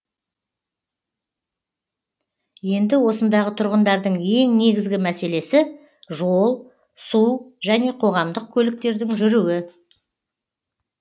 енді осындағы тұрғындардың ең негізгі мәселесі жол су және қоғамдық көліктердің жүруі